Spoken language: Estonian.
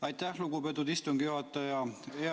Aitäh, lugupeetud istungi juhataja!